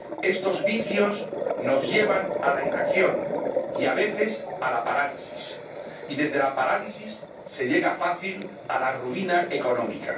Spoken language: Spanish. Estos vicios nos llevan a la inacción y a veces a la parálisis, y desde la parálisis se llega fácilmente a la ruina económica.